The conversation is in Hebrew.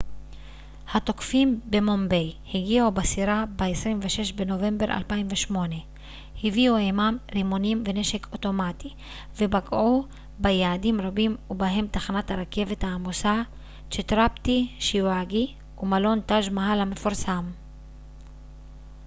התוקפים במומביי הגיעו בסירה ב-26 בנובמבר 2008 הביאו עימם רימונים ונשק אוטומטי ופגעו ביעדים רבים ובהם תחנת הרכבת העמוסה צ'טראפטי שיוואג'י ומלון טאג' מאהל המפורסם